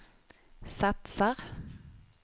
satsar